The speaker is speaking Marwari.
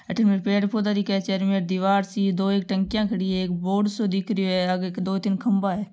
अठीने पेड़ पोधा दिखेचारो मेर दिवार सी दो एक टंकिया खड़ी है एक बोर्ड सो दिख रहियो है आगे एक दो तीन खम्भा है।